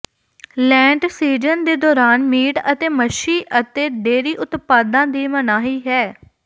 ਲੈਂਟ season ਦੇ ਦੌਰਾਨ meat ਅਤੇ ਮੱਛੀ ਅਤੇ ਡੇਅਰੀ ਉਤਪਾਦਾਂ ਦੀ ਮਨਾਹੀ ਹੈ